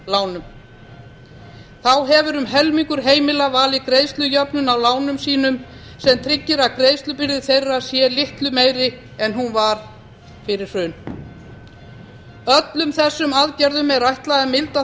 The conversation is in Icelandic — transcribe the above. af fasteignalánum þá hefur um helmingur heimila valið greiðslujöfnun á lánum sínum sem tryggir að greiðslubyrði þeirra sé litlu meiri en hún var fyrir hrun öllum þessum aðgerðum er ætlað að milda